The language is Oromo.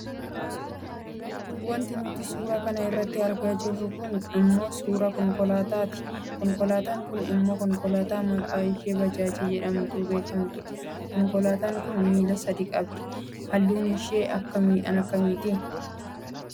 Wanti nuti suura kana irratti argaa jirru kun ammoo suuraa konkolaataa ti. Konkolaataan kun immoo konkolaataa maqaan ishee Bajaajii jedhamtuun beekkamtu dha. Konkolaataan kun miila sadi qabdi. Halluunshee kan akkamiiti?